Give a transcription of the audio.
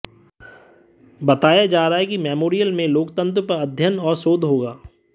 बताया जा रहा है कि मेमोरियल में लोकतंत्र पर अध्ययन और शोध होगा